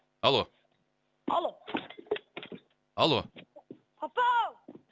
алло алло алло папа ау